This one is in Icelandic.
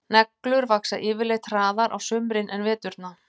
Neglur vaxa yfirleitt hraðar á sumrin en á veturna.